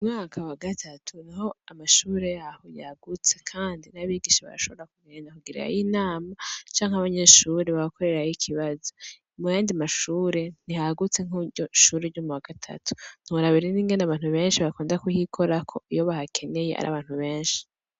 Mu mwaka wa gatatu niho amashure yaho yagutse kandi n'abigisha barashobora kugenda kugirirayo inama canke abanyeshure bagakorerayo ikibazo, mu yandi mashure ntihagutse nko mur'iryo shure ryo mu wa gatatu, ntiworaba rero n'ingene abantu benshi bakunda kuhikorako iyo bahakeneye ar'abantu benshi.